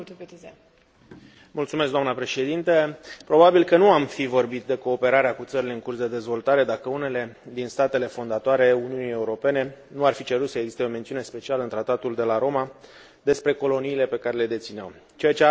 Probabil că nu am fi vorbit de cooperarea cu țările în curs de dezvoltare dacă unele din statele fondatoare ale Uniunii Europene nu ar fi cerut să existe o mențiune specială în Tratatul de la Roma despre coloniile pe care le dețineau, ceea ce arunca, inițial, o umbră asupra conceptului de democrație.